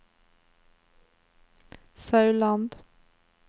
Sauland